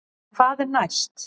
En hvað er næst?